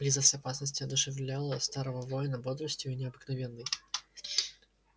близость опасности одушевляла старого воина бодростью необыкновенной